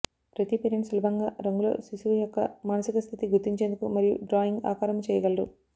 ప్రతి పేరెంట్ సులభంగా రంగు లో శిశువు యొక్క మానసిక స్థితి గుర్తించేందుకు మరియు డ్రాయింగ్ ఆకారము చెయ్యగలరు